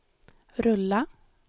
rulla